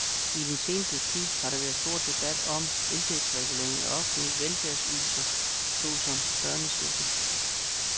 I den seneste tid har der været stor debat om indtægtsregulering af offentlige velfærdsydelser så som børnechecken.